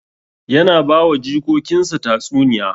Yana ba wa jikokin sa tatsuniya